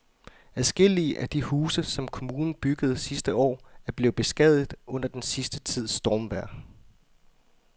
Adskillige af de huse, som kommunen byggede sidste år, er blevet beskadiget under den sidste tids stormvejr.